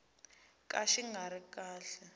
ka xi nga ri kahle